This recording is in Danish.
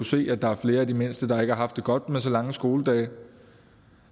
se at der er flere af de mindste der ikke har haft det godt med så lange skoledage